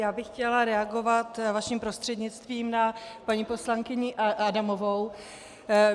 Já bych chtěla reagovat vaším prostřednictvím na paní poslankyni Adamovou.